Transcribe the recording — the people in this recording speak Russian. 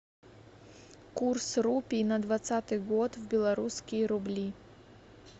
курс рупий на двадцатый год в белорусские рубли